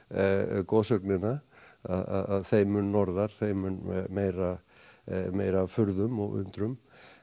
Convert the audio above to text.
goðsögnina að þeim mun norðar þeim mun meira meira af furðum og undrum